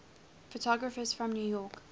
photographers from new york